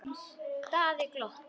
Daði glotti.